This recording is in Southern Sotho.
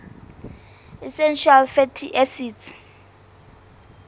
essential fatty acids